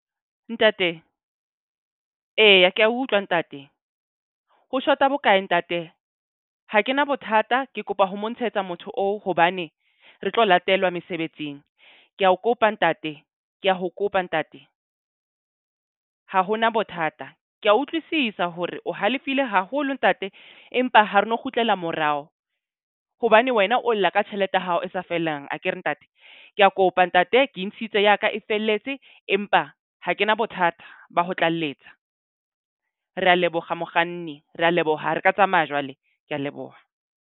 Ntate, eya ke a utlwa ntate. Ho shota bokae ntate? Ha kena bothata, ke kopa ho mo ntshetsa motho oo. Hobane re tlo latelwa mesebetsing. Ke a o kopa ntate ke a ho kopa ntate. Ha hona bothata. Ke a utlwisisa hore o halefile haholo ntate, empa ha re no kgutlela morao. Hobane wena o lla ka tjhelete ya hao e sa fellang akere ntate? Ke a kopa ntate ke intshitse ya ka e felletse. Empa ha ke na bothata ba ho tlalletja. Re a leboga mokganni. Re a leboga re ka tsamaya jwale. Ke a leboha.